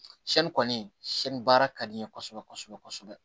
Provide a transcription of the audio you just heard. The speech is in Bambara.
kɔni baara ka di n ye kosɛbɛ kosɛbɛ